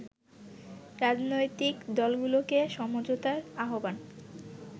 রাজনৈতিক দলগুলোকে সমঝোতার আহ্বান